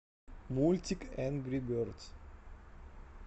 мультик энгри бердс